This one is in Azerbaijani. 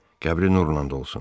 Qəbri nurlan dolsun.